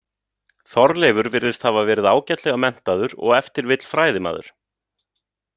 Þorleifur virðist hafa verið ágætlega menntaður og ef til vill fræðimaður.